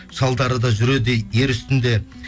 шалдары да жүреді ер үстінде